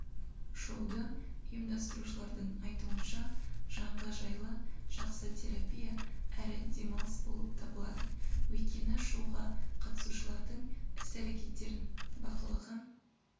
шоуды ұйымдастырушылардың айтуынша жанға жайлы жақсы терапия әрі демалыс болып табылады өйткені шоуға қатысушылардың іс-әрекеттерін бақылаған